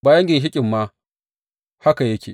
Bayan ginshiƙin ma haka yake.